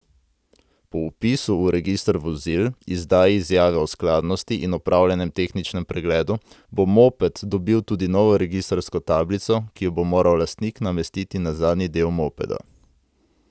Po vpisu v register vozil, izdaji izjave o skladnosti in opravljenem tehničnem pregledu bo moped dobil tudi novo registrsko tablico, ki jo bo moral lastnik namestiti na zadnji del mopeda.